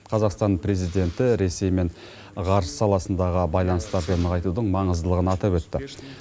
қазақстан президенті ресеймен ғарыш саласындағы байланысты әбден нығайтудың маңыздылығын атап өтті